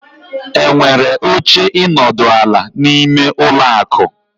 Enwere oche ịnọdụ ala, n'ime ụlọ akụ.